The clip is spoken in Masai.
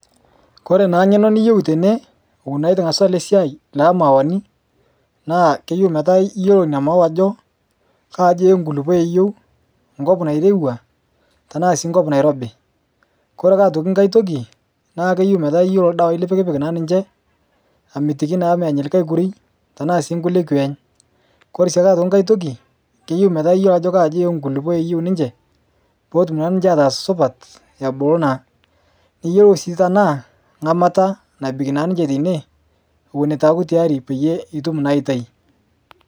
kore naa ngeno niyeu tene ewon naa etuu ingazu alee siai le mauwani naa keyeu metaa iyelo inia mauwa ajoo kaa aji eenkulipo eyeu nkop nairewa tanaa sii nkop nairobii kore ake otoki nghai tokii naa keyeu metaa iyeloo ldawa lipikpik naa ninshe amitiki naa menya likai kurui tanaa sii nkulie kweeny kore siake nghai tokii keyeu metaa iyolo ajo kaa ajii enkulipo eyeu ninshe pootum naa ninshe ataaz supat ebulu naa niyelou sii tanaa ngamata nabik naa ninshe teinie ewon etuu aaku tayari pitum naa aitai